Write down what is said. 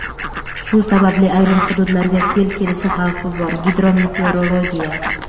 Shu sababli ayrim hududlarga sel kelishi xavfi bor – "Gidrometeorologiya".